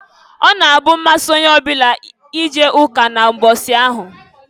Ọ na-abụ mmasị onye ọbụla ije ụka na mbọsị ahụ.